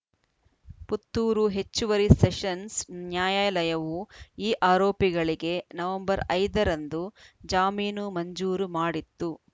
ಪುತ್ತೂರು ಹೆಚ್ಚುವರಿ ಸೆಷನ್ಸ್‌ ನ್ಯಾಯಾಲಯವು ಈ ಆರೋಪಿಗಳಿಗೆ ನವೆಂಬರ್ ಐದ ರಂದು ಜಾಮೀನು ಮಂಜೂರು ಮಾಡಿತ್ತು